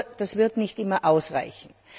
Nur, das wird nicht immer ausreichen.